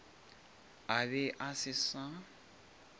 a be a se sa